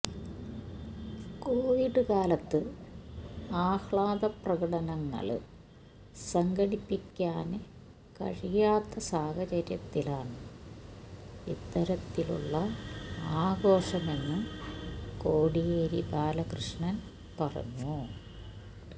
Covid കാലത്ത് ആഹ്ലാദപ്രകടനങ്ങള് സംഘടിപ്പിക്കാന് കഴിയാത്ത സാഹചര്യത്തിലാണ് ഇത്തരത്തിലുള്ള ആഘോഷമെന്ന് കോടിയേരി ബാലകൃഷ്ണന് പറഞ്ഞു